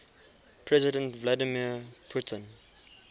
president vladimir putin